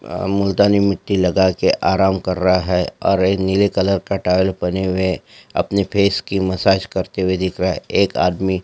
अ मुल्कतानी मिट्टी लगा के आराम कर रहा है और एक नीले कलर का टावल पहने हुए है अपने सेफ की मसाज करते हुए दिख रहा है एक आदमी --